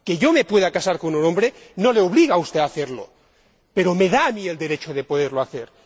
Que yo me pueda casar con un hombre no le obliga a usted a hacerlo, pero me da a mí el derecho de poderlo hacer.